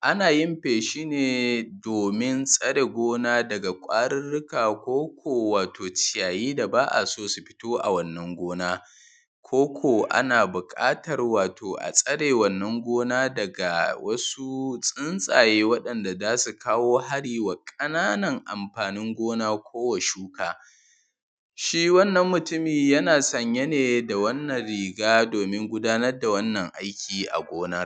Ana yin feshine, domin tsare gona daga kwariruka. Koko wato ciyayi, da ba’a so su fito a wannan gona. Koko ana buƙata wato a tsare, wannan gona daga wasu tsuntsaje, waɗanda zasu: kawo hari wa ƙananan amfanin gona ko wa shuka shi wannan mutumin yana sanyane da wannan riga domin gudanar da wannan aiki a gona.